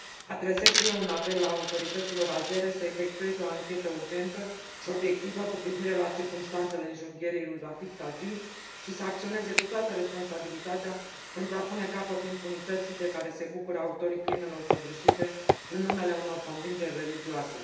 Adresez și eu un apel autorităților azere să efectueze o anchetă urgentă și obiectivă cu privire la circumstanțele înjunghierii lui Rafig Tagi și să acționeze cu toată responsabilitatea pentru a pune capăt impunității de care se bucură autorii crimelor săvârșite în numele unor convingeri religioase.